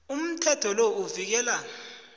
umthetho lo uvikela